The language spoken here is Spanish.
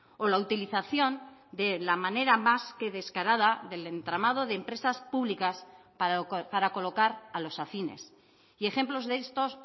o la utilización de la manera más que descarada del entramado de empresas públicas para colocar a los afines y ejemplos de estos